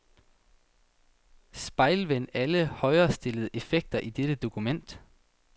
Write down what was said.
Spejlvend alle højrestillede effekter i dette dokument.